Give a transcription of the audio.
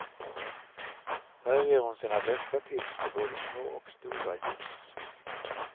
Här ger hon sina bästa tips för både små och stora ljus.